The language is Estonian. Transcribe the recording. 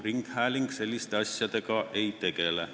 Ringhääling selliste asjadega ei tegele.